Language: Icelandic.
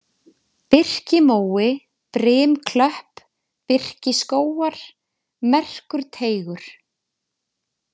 Birkimói, Brimklöpp, Birkiskógar, Merkurteigur